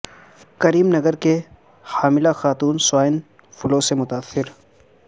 کریم نگر کی حاملہ خاتون سوائن فلو سے متاثر